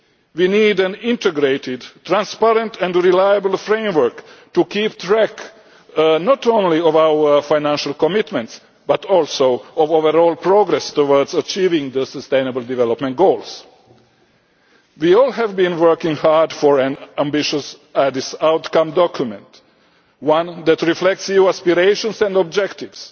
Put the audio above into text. We need an integrated, transparent and reliable framework to keep track not only of our financial commitments, but also of overall progress towards achieving the sustainable development goals. We all have been working hard for an ambitious Addis outcome document, one that reflects EU aspirations and objectives,